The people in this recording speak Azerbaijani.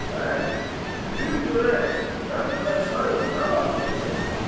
Bəy, buyur görək qənd və çay nə vaxt gələcək?